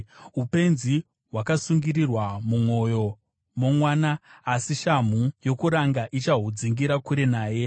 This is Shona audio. Upenzi hwakasungirirwa mumwoyo momwana, asi shamhu yokuranga ichahudzingira kure naye.